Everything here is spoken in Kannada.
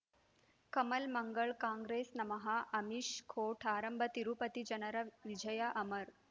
ಕಮಲ್ ಮಂಗಳ್ ಕಾಂಗ್ರೆಸ್ ನಮಃ ಅಮಿಷ್ ಕೋರ್ಟ್ ಆರಂಭ ತಿರುಪತಿ ಜನರ ವಿಜಯ ಅಮರ್